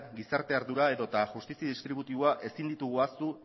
gizarte ardura edota justizi distributiboa ezin ditugu ahaztu